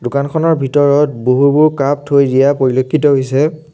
দোকানখনৰ ভিতৰত বহুবোৰ কাপ থৈ দিয়া পৰিলক্ষিত হৈছে।